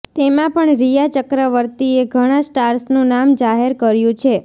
તેમાં પણ રિયા ચક્રવર્તીએ ઘણા સ્ટાર્સનું નામ જાહેર કર્યું છે